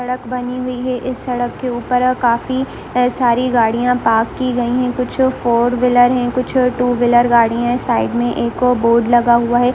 सड़क बनी हुई है इस सड़क पर काफी सारी गाड़ियां पार्क की गई है कुछ फॉर्विलर है कुछ टू व्हीलर गाड़ियां है साइड मे बोर्ड लगा हुआ है।